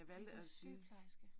Nej, du sygeplejerske